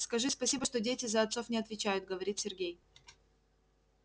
скажи спасибо что дети за отцов не отвечают говорит сергей